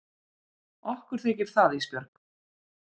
Okkur þykir það Ísbjörg.